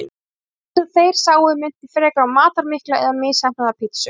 Það sem þeir sáu minnti frekar á matarmikla eða misheppnaða pítsu.